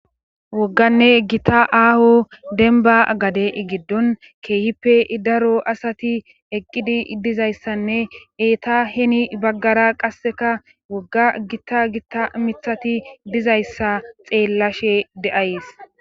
wogganne gita aaho denba gade giddon keehippe daro asati eqqidi dizayssanne eeta heni baggara qasseka wogga gitta gitta mithati dizayssa xeellashe de7ays.